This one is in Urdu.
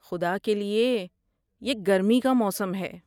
خدا کے لیے! یہ گرمی کا موسم ہے۔